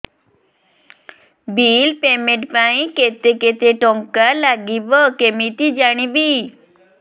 bill payment ପାଇଁ କେତେ କେତେ ଟଙ୍କା ଲାଗିବ କେମିତି ଜାଣିବି